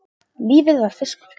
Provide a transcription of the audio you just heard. Lífið var fiskur.